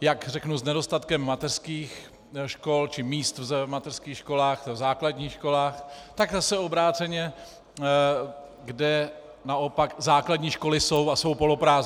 jak řeknu, s nedostatkem mateřských škol či míst v mateřských školách, v základních školách, tak zase obráceně, kde naopak základní školy jsou a jsou poloprázdné.